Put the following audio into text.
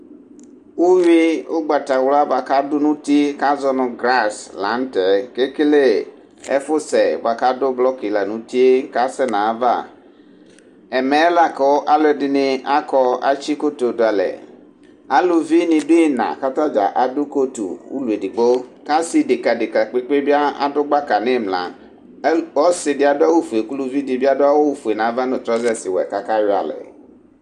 Uyui ugbatawla buaku adu nu uti di kazɔ nu gaz la nu tɛ ekele ɛfusɛ ka du blɔk la nu uti kasɛ nu ayava ɛmɛ la ku aluɛdini akɔ atsi godoo du alɛ aluvidíni du ina adu kotu ulɔ edigbo asi dɛka deka kpekpe adu gbaka nu imla ɔsidi adu awu ofue ku uluvi dibi adu awu ɔvɛ nava nu trɔzɛs ɔwɛ kakayɔ alɛ